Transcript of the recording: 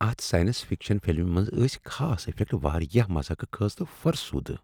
اتھ science fiction فلمہ منٛز ٲسۍ خاص افیکٹ واریاہ مضحکہ خیز تہٕ فرسودٕہ۔